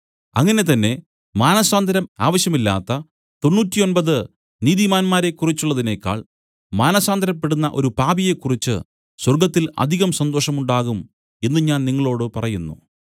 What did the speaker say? അങ്ങനെ തന്നെ മാനസാന്തരം ആവശ്യമില്ലാത്ത തൊണ്ണൂറ്റൊമ്പത് നീതിമാന്മാരെക്കുറിച്ചുള്ളതിനേക്കാൾ മാനസാന്തരപ്പെടുന്ന ഒരു പാപിയെ കുറിച്ച് സ്വർഗ്ഗത്തിൽ അധികം സന്തോഷം ഉണ്ടാകും എന്നു ഞാൻ നിങ്ങളോടു പറയുന്നു